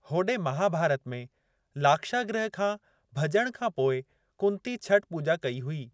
होदे महाभारत में, लाक्षागृह खां भज॒ण खां पोइ कुंती छठ पूॼा कई हुई।